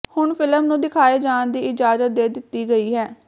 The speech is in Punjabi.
ਹੁਣ ਫਿਲਮ ਨੂੰ ਦਿਖਾਏ ਜਾਣ ਦੀ ਇਜਾਜਤ ਦੇ ਦਿੱਤੀ ਗਈ ਹੈ